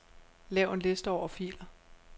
Lav en liste over filer.